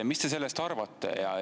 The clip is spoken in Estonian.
Mis te sellest arvate?